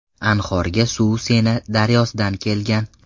Anhorga suv Sena daryosidan kelgan.